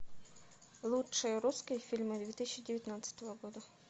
лучшие русские фильмы две тысячи девятнадцатого года